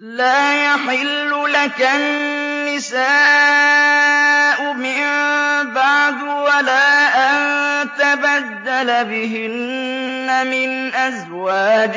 لَّا يَحِلُّ لَكَ النِّسَاءُ مِن بَعْدُ وَلَا أَن تَبَدَّلَ بِهِنَّ مِنْ أَزْوَاجٍ